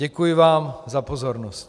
Děkuji vám za pozornost.